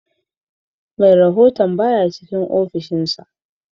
Merahon baya cikin offishin sa